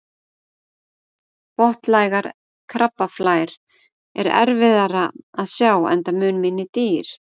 Botnlægar krabbaflær er erfiðara að sjá enda mun minni dýr.